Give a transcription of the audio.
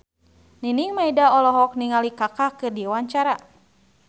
Nining Meida olohok ningali Kaka keur diwawancara